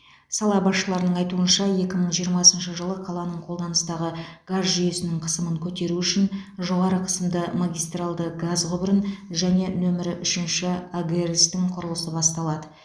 сала басшыларының айтуынша екі мың жиырмасыншы жылы қаланың қолданыстағы газ жүйесінің қысымын көтеру үшін жоғары қысымды магистралды газ құбырын және нөмірі үшінші агрс тың құрылысы басталады